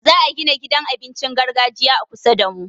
Za'a gina gidan abincin gargajiya a kusa damu.